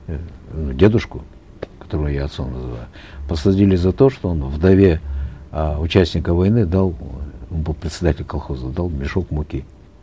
эээ дедушку которого я отцом называю посадили за то что он вдове э участника войны дал он был председатель колхоза он дал мешок муки